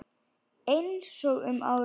Einsog um árið.